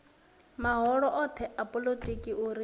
mahoro othe a polotiki uri